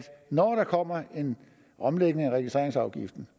når der kommer en omlægning af registreringsafgiften